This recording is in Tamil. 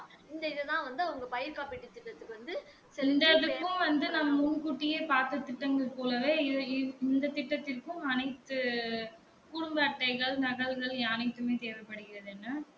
இந்த இதான் வந்து அவங்க பயிர் காப்பிட்டு திட்டத்துக்கு வந்து